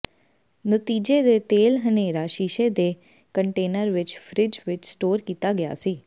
ਨਤੀਜੇ ਦੇ ਤੇਲ ਹਨੇਰਾ ਸ਼ੀਸ਼ੇ ਦੇ ਕੰਟੇਨਰ ਵਿੱਚ ਫਰਿੱਜ ਵਿੱਚ ਸਟੋਰ ਕੀਤਾ ਗਿਆ ਸੀ